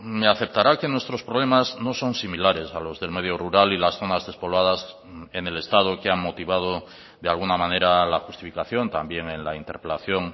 me aceptará que nuestros problemas no son similares a los del medio rural y las zonas despobladas en el estado que han motivado de alguna manera la justificación también en la interpelación